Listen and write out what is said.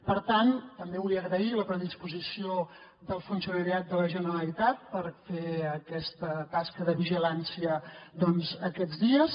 per tant també vull agrair la predisposició del funcionariat de la generalitat per fer aquesta tasca de vigilància doncs aquests dies